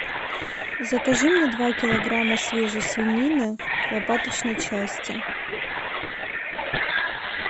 закажи мне два килограмма свежей свинины лопаточной части